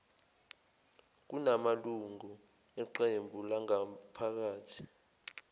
kunamalungu eqebu langaphakathi